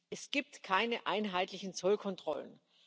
Es gibt keine einheitlichen Zollkontrollen.